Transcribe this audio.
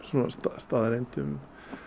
staðreyndum